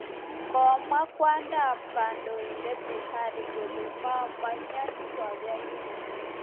Kimwa kwondo ab kandoindet Buhari kole memnyoni boyot nyi mising.